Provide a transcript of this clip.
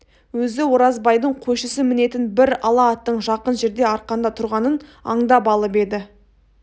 өзі оразбайдың қойшысы мінетін бір ала аттың жақын жерде арқанда тұрғанын аңдап алып еді